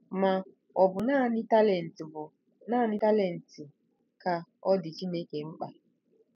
Ma, ọ̀ bụ naanị talent bụ naanị talent ka ọ dị Chineke mkpa?